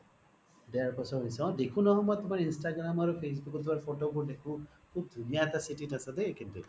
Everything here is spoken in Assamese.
দেৰ বছৰ হৈছে অ দেখো নহয় মই instagram আৰু facebook তুমাৰ photo বোৰ দেখো সুব ধুনিয়া এটা city ত আছা দেই কিন্তু